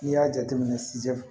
N'i y'a jateminɛ